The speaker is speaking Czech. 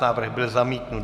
Návrh byl zamítnut.